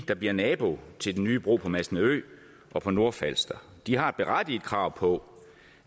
der bliver nabo til den nye bro på masnedø og på nordfalster de har et berettiget krav på